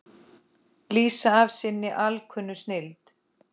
lýsa af sinni alkunnu snilld.